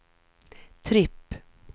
tripp